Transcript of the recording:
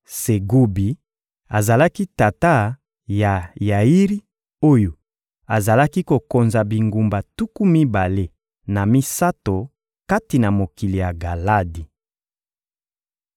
Segubi azalaki tata ya Yairi oyo azalaki kokonza bingumba tuku mibale na misato kati na mokili ya Galadi.